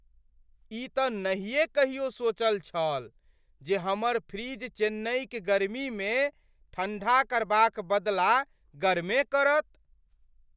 ई तँ नहिएँ कहियो सोचल छल जे हमर फ्रिज चेन्नईक गर्मीमे ठंडा करबाक बदला गरमे करत ।